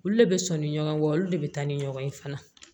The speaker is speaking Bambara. Olu le be sɔnni ɲɔgɔn kɔ olu de be taa ni ɲɔgɔn ye fana